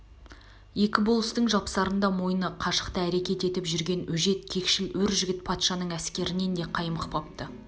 екі болыстың жапсарында мойны қашықта әрекет етіп жүрген өжет кекшл өр жігіт патшаның әскерінен де қаймықпапты